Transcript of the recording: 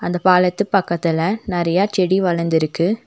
இந்தப் பாலத்து பக்கத்துல நெறைய செடி வளர்ந்து இருக்கு.